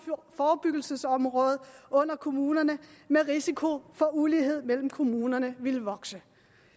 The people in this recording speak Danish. forebyggelsesområde under kommunerne med risiko for at ulighed mellem kommunerne ville vokse